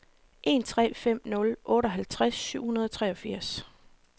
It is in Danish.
en tre fem nul otteoghalvtreds syv hundrede og treogfirs